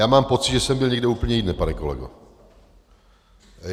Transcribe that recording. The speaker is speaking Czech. Já mám pocit, že jsem byl někde úplně jinde, pane kolego.